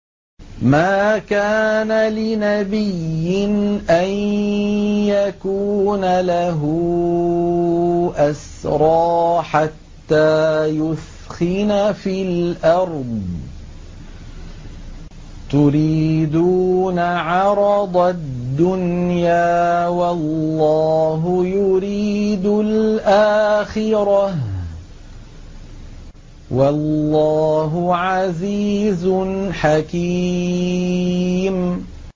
مَا كَانَ لِنَبِيٍّ أَن يَكُونَ لَهُ أَسْرَىٰ حَتَّىٰ يُثْخِنَ فِي الْأَرْضِ ۚ تُرِيدُونَ عَرَضَ الدُّنْيَا وَاللَّهُ يُرِيدُ الْآخِرَةَ ۗ وَاللَّهُ عَزِيزٌ حَكِيمٌ